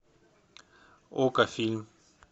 окко фильм